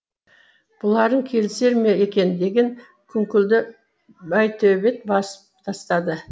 бұларың келісер ме екен деген күңкілді байтөбет басып тастады